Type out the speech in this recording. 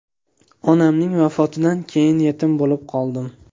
Onamning vafotidan keyin yetim bo‘lib qoldim.